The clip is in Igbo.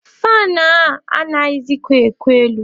Faanụ a anaghịzịkwa eku elu.